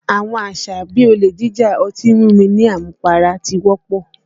Àwọn àṣà bí i olè jíjà, ọtí mímu ní àmupara ti wọ́pọ̀